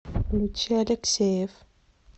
включи алексеев